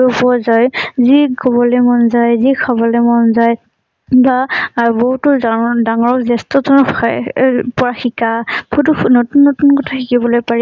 পৰা যায়, যি কবলৈ মন যায়, যি খাবলৈ মন যায়, বা বহুতো ডাঙৰ, জ্যেষ্ঠতৰ আহ আহ পৰা শিকা, বহুতো নতুন নতুন কথা শিকিবলৈ পাৰি,